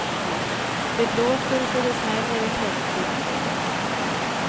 Det blåser så det smäller i tältduken.